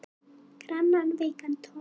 Grannan, veikan tón.